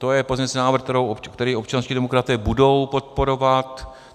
To je pozměňovací návrh, který občanští demokraté budou podporovat.